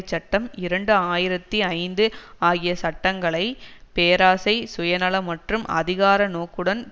சட்டம் இரண்டு ஆயிரத்தி ஐந்து ஆகிய சட்டங்களை பேராசை சுய நல மற்றும் அதிகார நோக்குடன்